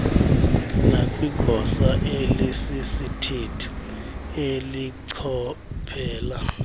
nakwigosa elisisithethi elichophela